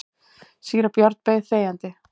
Síra Björn beið þegjandi.